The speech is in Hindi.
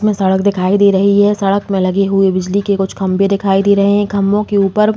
इसमें सड़क दिखाई दे रही है। सड़क में लगे हुए बिजली के कुछ खम्बे दिखाई दे रहे है। इन खंभो के ऊपर --